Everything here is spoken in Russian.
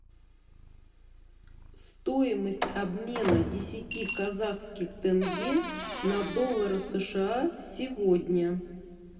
стоимость обмена десяти казахских тенге на доллары сша сегодня